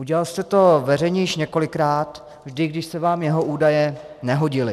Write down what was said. Udělal jste to veřejně již několikrát, vždy když se vám jeho údaje nehodily.